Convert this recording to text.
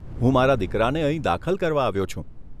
હું મારા દીકરાને અહીં દાખલ કરવા આવ્યો છું.